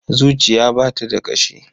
Zuciya ba ta da ƙashi.